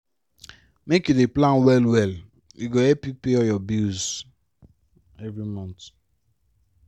make you dey plan well-well e go help you pay all your bill every month.